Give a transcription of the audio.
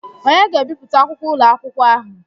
Onye ga-ebipụta akwụkwọ ụlọ akwụkwọ ahụ?